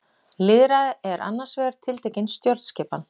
Lýðræði er annars vegar tiltekin stjórnskipan.